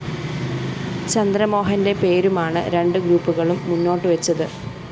ചന്ദ്രമോഹന്റെ പേരുമാണ് രണ്ടുഗ്രൂപ്പുകളും മുന്നോട്ടുവെച്ചത്